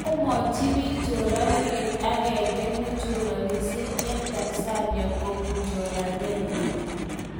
komwachi pik choraindet agenge nechoranishe en tanzania kopun choranenyin.